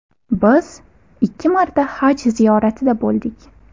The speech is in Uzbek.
Biz ikki marta Haj ziyoratida bo‘ldik.